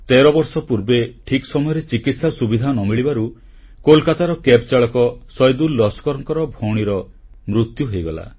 13 ବର୍ଷ ପୂର୍ବେ ଠିକ୍ ସମୟରେ ଚିକିତ୍ସା ସୁବିଧା ନ ମିଳିବାରୁ କୋଲକାତାର କ୍ୟାବ୍ଚାଳକ ସୈଦୁଲ ଲସ୍କରଙ୍କ ଭଉଣୀର ମୃତ୍ୟୁ ହୋଇଗଲା